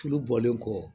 Tulu bɔlen kɔ